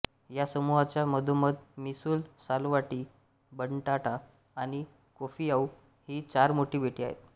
या समूहाच्या मधोमध मिसूल सालवाटी बटांटा आणि कोफिआऊ ही चार मोठी बेटे आहेत